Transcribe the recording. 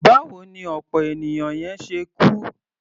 Báwo ni ọ̀pọ̀ ènìyàn yẹn ṣe kú?